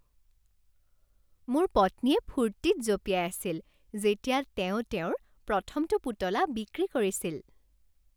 মোৰ পত্নীয়ে ফূৰ্তিত জঁপিয়াই আছিল যেতিয়া তেওঁ তেওঁৰ প্ৰথমটো পুতলা বিক্ৰী কৰিছিল।